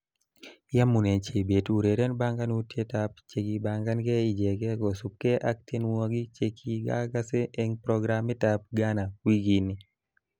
Yamunee Chebet ureren banganutietab chekibanganke ijeke kosubkee ak tienwogik chekigase eng programitab Gana wikini